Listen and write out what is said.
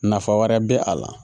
Nafa wɛrɛ bɛ a la